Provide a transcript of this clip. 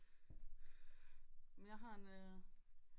Men jeg har en øh